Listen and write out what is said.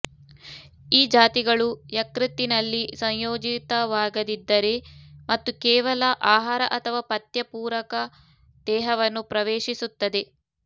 ಈ ಜಾತಿಗಳು ಯಕೃತ್ತಿನಲ್ಲಿ ಸಂಯೋಜಿತವಾಗದಿದ್ದರೆ ಮತ್ತು ಕೇವಲ ಆಹಾರ ಅಥವಾ ಪಥ್ಯ ಪೂರಕ ದೇಹವನ್ನು ಪ್ರವೇಶಿಸುತ್ತದೆ